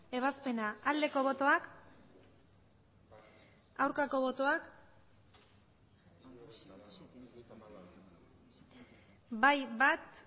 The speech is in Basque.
ebazpena aldeko botoak aurkako botoak bai bat